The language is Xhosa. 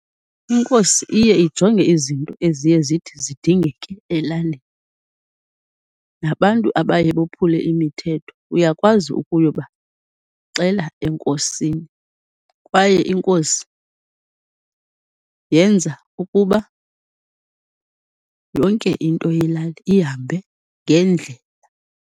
Inkosi iye ijonge izinto eziye zithi zidingeke elalini, nabantu abaye bophule imithetho uyakwazi ukuyobaxela enkosini, kwaye inkosi yenza ukuba yonke into yelali ihambe ngendlela.